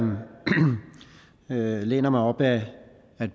læner mig op ad